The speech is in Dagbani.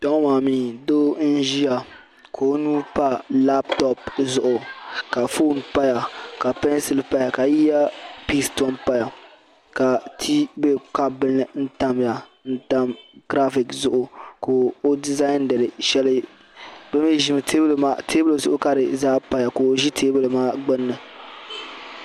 Kpɛŋɔ maa mi doo n-ʒiya ka o nuu pa lapitopu zuɣu ka foon paya ka peensili paya ka eyapisi tom paya ka tii be kapu bila ni tam giraafiti zuɣu ka o dizaandiri shɛli teebuli zuɣu ka di zaa paya.